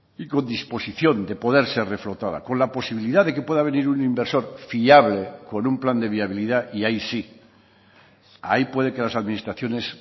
y con disposición de poder ser reflotada con la posibilidad de que pueda venir un inversor fiable con un plan de viabilidad y ahí sí ahí puede que las administraciones